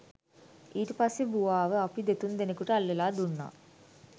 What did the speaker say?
ඊට පස්සෙ බුවාව අපි දෙතුන් දෙනෙකුට අල්ලලා දුන්නා